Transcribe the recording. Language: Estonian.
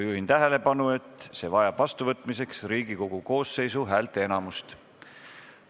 Juhin tähelepanu, et see vajab vastuvõtmiseks Riigikogu koosseisu häälteenamust.